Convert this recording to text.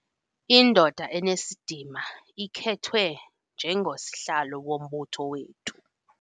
Indoda enesidima ikhethwe njengosihlalo wombutho wethu.